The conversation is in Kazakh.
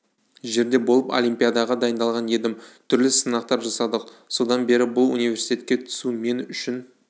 жерде болып олимпиадаға дайындалған едім түрлі сынақтар жасадық содан бері бұл университетке түсу мен үшін